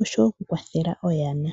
osho wo oku kwathela oyana.